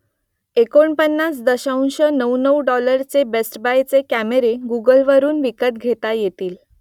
एकोणपन्नास दशांश नऊ नऊ डॉलरचे बेस्ट बायचे कॅमेरे गुगलवरून विकत घेता येतील